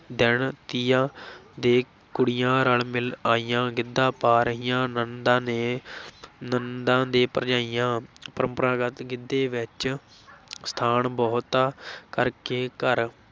ਦਿਨ ਤੀਆਂ ਦੇ, ਕੁੜੀਆਂ ਰਲ ਮਿਲ ਆਈਆਂ, ਗਿੱਧਾ ਪਾ ਰਹੀਆਂ, ਨਣਦਾਂ ਨੇ ਨਣਦਾਂ ਤੇ ਭਰਜਾਈਆਂ ਪਰੰਪਰਾਗਤ ਗਿੱਧੇ ਵਿੱਚ ਸਥਾਨ ਬਹੁਤਾ ਕਰਕੇ ਘਰ